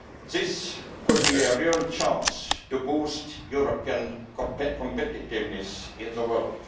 This could be a real chance to boost European competitiveness in the world.